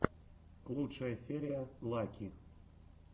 лучшая серия лаки